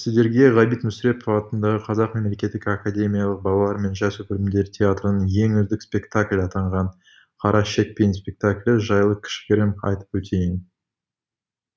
сіздерге ғабит мүсірепов атындағы қазақ мемлекеттік академиялық балалар мен жасөспірімдер театрының ең үздік спектакль атанған қара шекпен спектаклі жайлы кішігірім айтып өтейін